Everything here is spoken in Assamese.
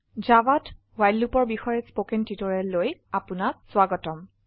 জাভাত ৱ্হাইল Loopঅৰ বিশয়ে স্পকেন টিউটোৰিয়ালেলৈ আপনাক স্বাগতম